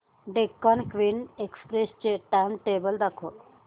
Deccan queen express चे timetable दाखव